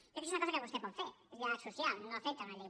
jo crec que és una cosa que vostè pot fer és diàleg social no afecta una llei